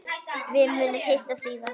Við munum hittast síðar.